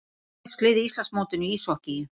Sex lið á Íslandsmótinu í íshokkíi